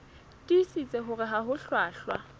tiisitse hore ha ho hlwahlwa